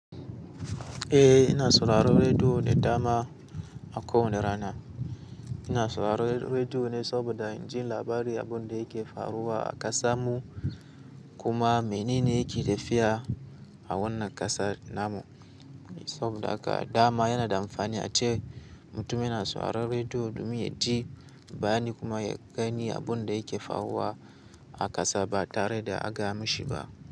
Eh ina sauraron rediyo ne dama a ko wane rana. Ina sauraron rediyo ne saboda in ji labari abin da yake faruwa a ƙasan mu kuma menene yake tafiya a wannan ƙasa namu. Saboda haka dama yana da amfani ace mutum yana sauraron rediyo domin ya ji bayani kuma ya gani abun da yake faruwa a ƙasa ba tare da a gayamishi ba.